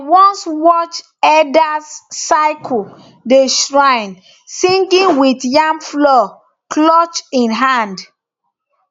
i once watched elders circle the shrine singing with yam flour clutched in hand